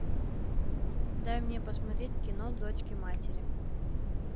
дай мне посмотреть кино дочки матери